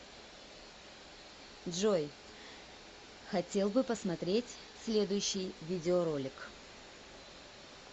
джой хотел бы посмотреть следущий видеоролик